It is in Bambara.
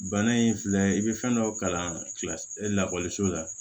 Bana in filɛ i be fɛn dɔ kalan kila la la